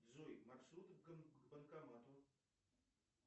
джой маршруты к банкомату